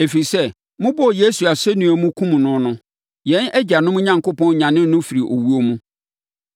ɛfiri sɛ, mobɔɔ Yesu asɛnnua mu, kumm no no, yɛn agyanom Onyankopɔn nyanee no firii owuo mu.